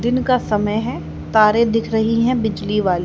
दिन का समय है तारे दिख रही है बिजली वाली।